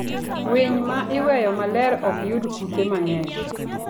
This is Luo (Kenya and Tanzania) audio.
Winy ma iweyo maler ok yud kute mang'eny.